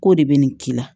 K'o de bɛ nin k'i la